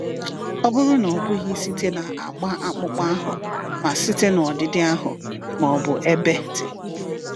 Ọ bụrụ na ọ bụghị site na agba akpụkpọ ahụ, ma site na ọdịdị ahụ, ma ọ bụ ebe dị.